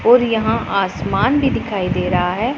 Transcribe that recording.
और यहाँ आसमान भीं दिखाई दे रहा हैं।